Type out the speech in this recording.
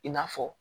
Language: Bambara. I n'a fɔ